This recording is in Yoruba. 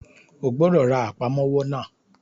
O gbọ́dọ̀ ra Àpámọ́wọ́ náà!